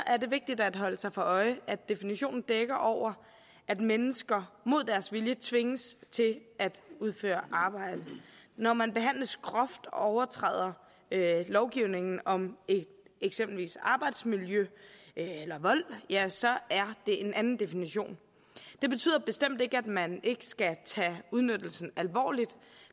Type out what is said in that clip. er det vigtigt at holde sig for øje at definitionen dækker over at mennesker mod deres vilje tvinges til at udføre arbejde når man behandles groft og lovgivningen om eksempelvis arbejdsmiljø eller vold ja så er det en anden definition det betyder bestemt ikke at man ikke skal tage udnyttelsen alvorligt